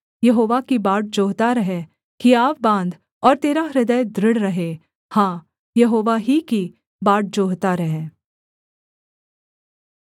यहोवा की बाट जोहता रह हियाव बाँध और तेरा हृदय दृढ़ रहे हाँ यहोवा ही की बाट जोहता रह